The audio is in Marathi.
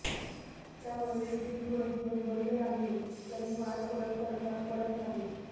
त्यामुळे शूटिंग थोडे दिवस बंद राहिलं तरी फार फरक पडत नाही